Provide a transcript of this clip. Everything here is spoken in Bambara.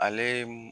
Ale